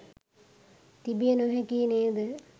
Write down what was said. තිබිය නොහැකියි නේද?